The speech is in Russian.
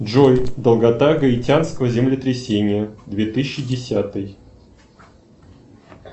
джой долгота гаитянского землетрясения две тысячи десятый